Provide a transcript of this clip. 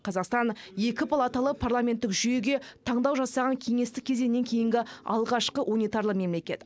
қазақстан екі палаталы парламенттік жүйеге таңдау жасаған кеңестік кезеңнен кейінгі алғашқы унитарлы мемлекет